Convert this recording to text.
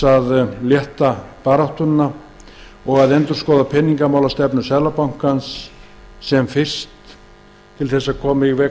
að létta baráttuna og jafnframt að endurskoða peningamálastefnu seðlabankans sem fyrst til þess að